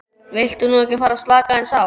Viltu nú ekki fara að slaka aðeins á!